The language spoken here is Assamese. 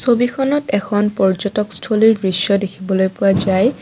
ছবিখনত এখন পৰ্যটকস্থলীৰ দৃশ্য দেখিবলৈ পোৱা যায়।